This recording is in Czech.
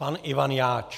Pan Ivan Jáč.